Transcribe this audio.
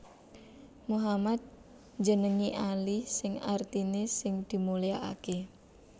Muhammad njenengi Ali sing artiné sing dimulyakaké